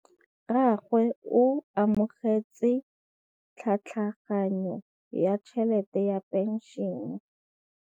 Rragwe o amogetse tlhatlhaganyô ya tšhelête ya phenšene.